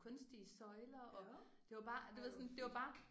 Kunstige søjler og det var bare du ved sådan det var bare